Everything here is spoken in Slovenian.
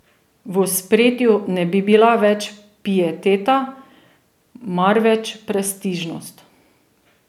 V ospredju ne bi bila več pieteta, marveč prestižnost.